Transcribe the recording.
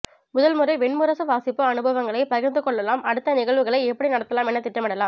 முதல் முறை வெண்முரசு வாசிப்பு அனுபவங்களை பகிர்ந்து கொள்ளலாம் அடுத்த நிகழ்வுகளை எப்படி நடத்தலாம் என திட்டமிடலாம்